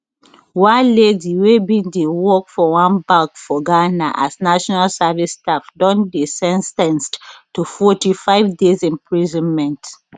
one lady wey bin dey work for one bank for ghana as national service staff don dey sen ten ced to forty five days imprisonment